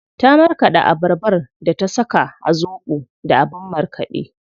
Ta marƙaɗa abarbar da ta saka a zobo da abin markaɗe.